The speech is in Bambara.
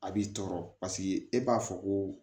A b'i tɔɔrɔ e b'a fɔ ko